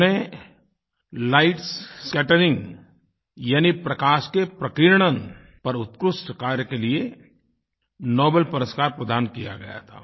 उन्हें light scattering यानि प्रकाश के प्रकीर्णन पर उत्कृष्ट कार्य के लिए नोबलपुरस्कार प्रदान किया गया था